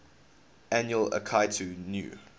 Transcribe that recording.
annual akitu new